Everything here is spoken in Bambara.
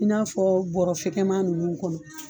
I n'a fɔ bɔrafɛkɛman nunnu kɔnɔ